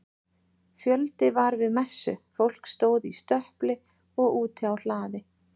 Fjöldi var við messu, fólk stóð í stöpli og úti á hlaði.